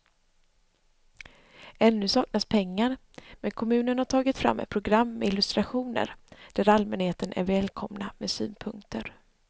Ännu saknas pengar men kommunen har tagit fram ett program med illustrationer där allmänheten är välkomna med synpunkter.